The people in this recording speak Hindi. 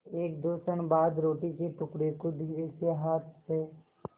एकदो क्षण बाद रोटी के टुकड़े को धीरेसे हाथ से